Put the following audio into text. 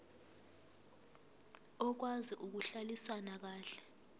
okwazi ukuhlalisana kahle